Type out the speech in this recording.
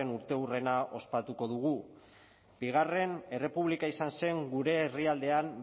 urteurrena ospatuko dugu bigarren errepublika izan zen gure herrialdean